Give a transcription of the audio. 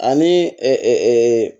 Ani